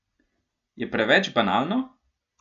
Je preveč banalno?